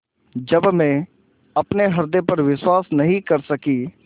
जब मैं अपने हृदय पर विश्वास नहीं कर सकी